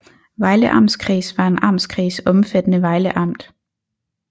Vejle Amtskreds var en amtskreds omfattende Vejle Amt